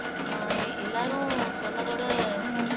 அஹ் எல்லாரும் சொன்னதோட